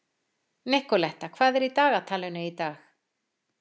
Nikoletta, hvað er í dagatalinu í dag?